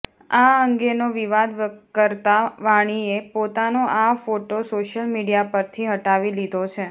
આ અંગેનો વિવાદ વકરતા વાણીએ પોતાનો આ ફોટો સોશિયલ મીડિયા પરથી હટાવી લીધો છે